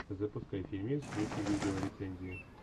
запускай фильмец в духе видеорецензии